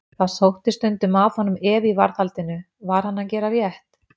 Það sótti stundum að honum efi í varðhaldinu: var hann að gera rétt?